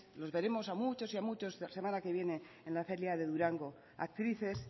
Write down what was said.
los veremos a muchos y muchos de la semana que viene la feria de durango actrices